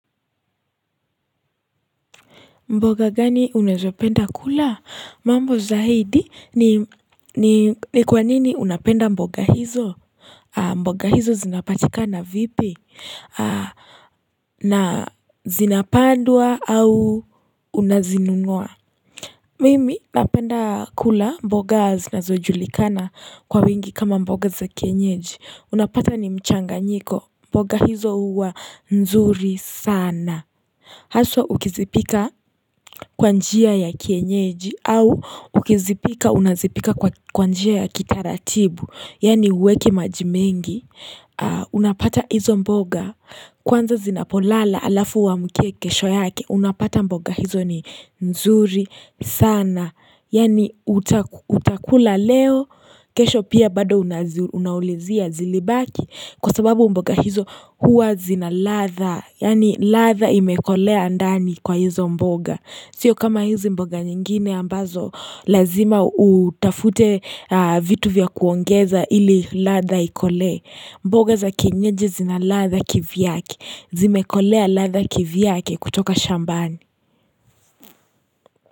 Mboga gani unazopenda kula mambo zaidi ni ni kwanini unapenda mboga hizo mboga hizo zinapatika na vipi na zinapandwa au unazinunua mimi napenda kula mboga zinazojulikana kwa wingi kama mboga za kienyeji unapata ni mchanga nyiko mboga hizo uwa nzuri sana Haswa ukizipika kwa njia ya kienyeji au ukizipika unazipika kwa njia ya kitaratibu Yaani uweki majimengi Unapata hizo mboga Kwanza zinapolala alafu uamkie kesho yake unapata mboga hizo ni nzuri sana Yaani utakula leo kesho pia bado unaulizia zilibaki Kwa sababu mboga hizo huwa zinaladha Yaani latha imekolea andani kwa hizo mboga Sio kama hizo mboga nyingine ambazo Lazima utafute vitu vya kuongeza ili latha ikolee mboga za kinyeji zina latha kivyake Zimekolea latha kivyake kutoka shambani.